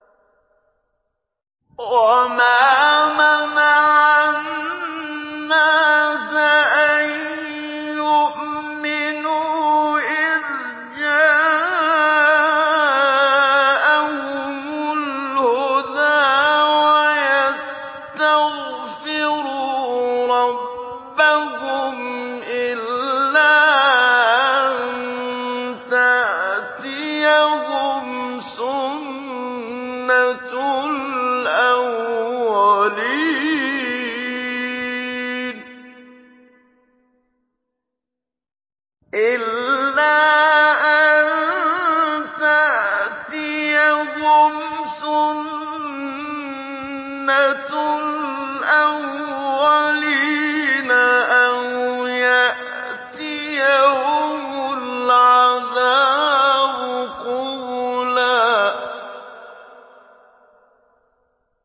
وَمَا مَنَعَ النَّاسَ أَن يُؤْمِنُوا إِذْ جَاءَهُمُ الْهُدَىٰ وَيَسْتَغْفِرُوا رَبَّهُمْ إِلَّا أَن تَأْتِيَهُمْ سُنَّةُ الْأَوَّلِينَ أَوْ يَأْتِيَهُمُ الْعَذَابُ قُبُلًا